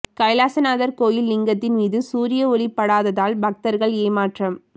கைலாசநாதர் கோயில் லிங்கத்தின் மீது சூரிய ஒளி படாததால் பக்தர்கள் ஏமாற்றம்